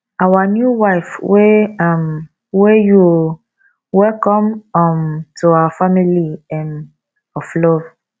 our new wife we um we you oo welcome um to our family um of love